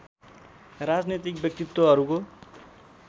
राजनीतिक व्यक्तित्त्वहरूको